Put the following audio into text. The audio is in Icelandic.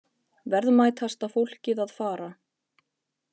Verðmætasta fólkið að fara